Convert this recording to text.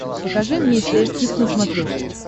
покажи мне стс кидс на смотрешке